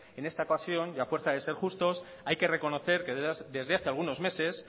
en esta ocasión y a fuerza de ser justos hay que reconocer que desde hace algunos meses